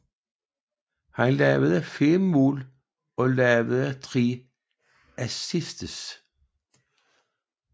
Han scorede 5 mål og lavede 3 assists